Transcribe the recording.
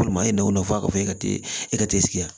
Walima e n'o nafa ka bon e ka teli sigi yan